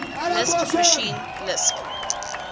lisp machine lisp